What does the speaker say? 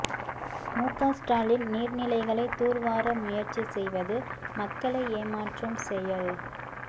முக ஸ்டாலின் நீர்நிலைகளை துர்வார முயற்சி செய்வது மக்களை ஏமாற்றும் செயல்